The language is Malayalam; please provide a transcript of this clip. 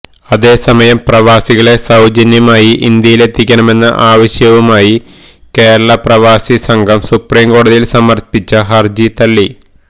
അതേ സമയം പ്രവാസികളെ സൌജന്യമായി ഇന്ത്യയിലെത്തിക്കണമെന്ന ആവശ്യവുമായി കേരള പ്രവാസി സംഘം സുപ്രീംകോടതിയില് സമര്പ്പിച്ച ഹര്ജി തള്ളി